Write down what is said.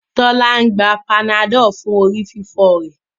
Tola ń gbà Panadol fún orí fífọ rẹ